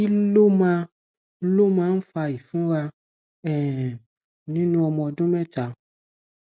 kí ló máa ló máa ń fa ìfunra um nínú ọmọ ọdún méta